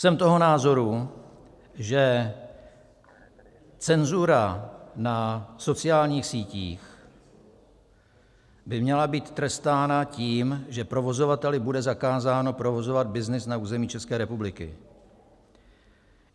Jsem toho názoru, že cenzura na sociálních sítích by měla být trestána tím, že provozovateli bude zakázáno provozovat byznys na území České republiky.